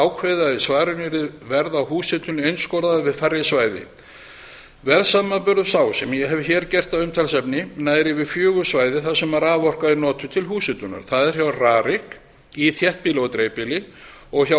ákveðið að í svarinu yrði verð á húshitun einskorðað við færri svæði verðsamanburður sá sem ég hef hér gert að umtalsefni nær yfir fjögur svæði þar sem raforka er notuð til húshitunar það er hjá rarik í þéttbýli og dreifbýli og hjá